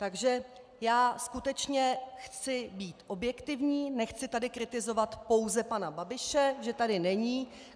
Takže já skutečně chci být objektivní, nechci tady kritizovat pouze pana Babiše, že tady není.